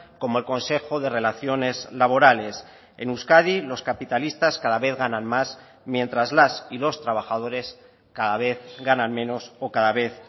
como el consejo de relaciones laborales en euskadi los capitalistas cada vez ganan más mientras las y los trabajadores cada vez ganan menos o cada vez